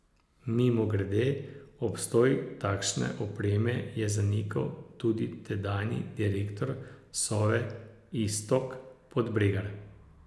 Mimogrede, obstoj takšne opreme je zanikal tudi tedanji direktor Sove Iztok Podbregar.